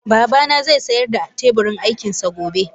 Babana zai sayar da teburin aikin sa gobe